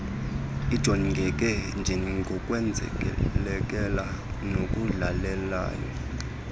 ijongeke njengokwenzelelela nokudlelelela